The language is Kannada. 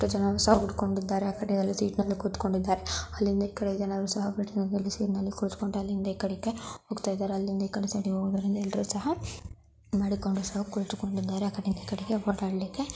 ತಾ ಜನಾನು ಸಾ ಉಡ್ಕೊಂಡಿದಾರೆ. ಆಕಡೆ ಯಲ್ಲಿ ಸೀಟ್ ನಲ್ಲಿ ಕೂತ್ಕೊಂಡಿದ್ದಾರೆ. ಅಲ್ಲಿಂದ ಏಕದೇ ಜನರು ಸಹಾ ಕುಳಿತುಕೊಂಡ ಅಲ್ಲಿಂದಾ ಈಕಡೆಕೆ ಹೋಗ್ತಾಯಿದ್ದಾರೆ. ಅಲ್ಲಿಂದಾ ಈಕಡೆ ಸೈಡ್ ಇಗೆ ಹೋಗುವುದಿಂದ್ರ ಎಲ್ಲರು ಸಹಾ ಮಾಡಿಕೊಂಡು ಸಹ ಕುಂತುಕೊಂಡಿದ್ದಾರೆ. ಆಕಡೆಯಿಂದ ಈಕಡೆಗೆ ಓಡಾಡಲಿಕ್ಕೆ --